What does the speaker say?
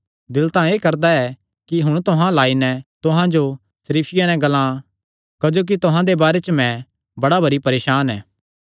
दिल तां एह़ करदा ऐ कि हुण तुहां अल्ल आई नैं तुहां जो सरीफिया नैं ग्लां क्जोकि तुहां दे बारे च मैं बड़ा भरी परेसान ऐ